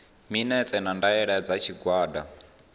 minetse na ndaela dza tshigwada